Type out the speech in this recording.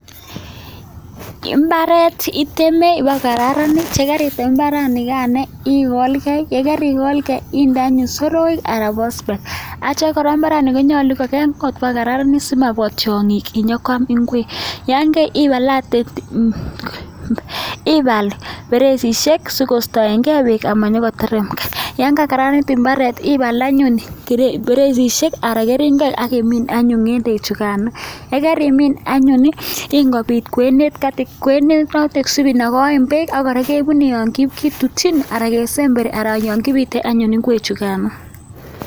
Mbaret iteme mba ko kararanit ye karitem mbaret negain igolgei yegarigolgei iinde anyon soroek anan bospet atya kora mbaret ne konyolu kokararanit si mabwo tiong'iik nyo koam ingwek, atya ibal ferejisyek sikostagei beek, yaan kakokararanit mbaret, ibaal anyon keringonik akimiin anyon ng'endeek chugain yegarimin anyon ii, ingobiit kwenet sibinagen beek akorakebune yaan kitutchin ana kesemberi ana yakisute ng'endeek chugain